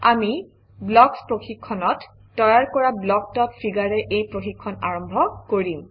আমি ব্লকচ প্ৰশিক্ষণত তৈয়াৰ কৰা blockfig ৰে এই প্ৰশিক্ষণ আৰম্ভ কৰিম